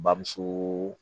Bamuso